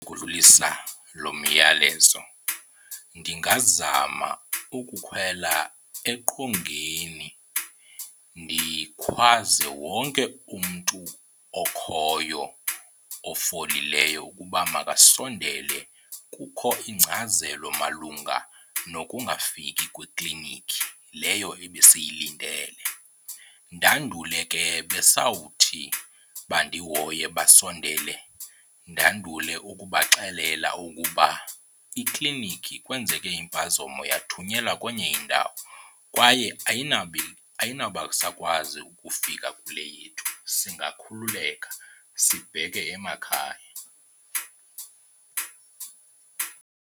Ukudlulisa lo myalezo ndingazama ukukhwela eqongeni ndikhwaze wonke umntu okhoyo ofolileyo ukuba makasondele kukho ingcazelo malunga nokungafiki kweklinikhi leyo ebesiyilindele. Ndandule ke besawuthi bandihoye basondele ndandule ukubaxelela ukuba iklinikhi kwenzeke impazamo yathunyelwa kwenye indawo kwaye ayinobasakwazi ukufika kule yethu singakhululeka sibheke emakhaya.